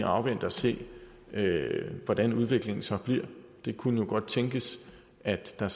afvente og se hvordan udviklingen så bliver det kunne jo godt tænkes at der